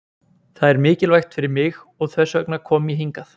Það er mikilvægt fyrir mig og þess vegna kom ég hingað.